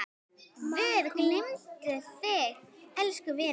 Guð geymi þig, elsku vinur.